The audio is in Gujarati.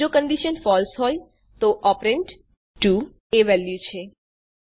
જો કંડીશન ફળસે હોય તો ઓપરેન્ડ ૨ એ વેલ્યુ છે